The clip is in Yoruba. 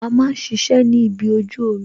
A máa ń ṣiṣẹ́ ni ibi ojú omi